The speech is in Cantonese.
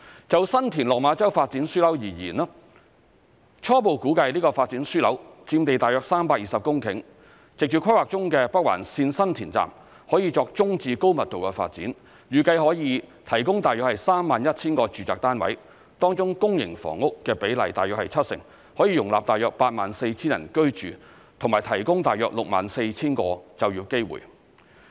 就新田/落馬洲發展樞紐而言，初步估計這個發展樞紐佔地約320公頃，藉着規劃中的北環綫新田站，可以作中至高密度的發展，預計可以提供約 31,000 個住宅單位，當中公營房屋的比例約為七成，可以容納約 84,000 人居住及提供約 64,000 個就業機會。